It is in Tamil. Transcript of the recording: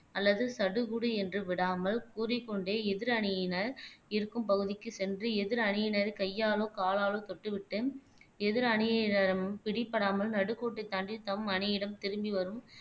அல்லது சடுகுடு என்று விடாமல் கூறிக்கொண்டே எதிர் அணியினர் இருக்கும் பகுதிக்கு சென்று எதிர் அணியினரை கையாளோ காலாலோ தொட்டுவிட்டு எதிர் அணியினரிடமும் பிடிபடாமல் நடுக்கோட்டை தாண்டி தம் அணியிடம் திரும்பி வரும்